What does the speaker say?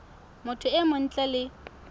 motho e mong ntle le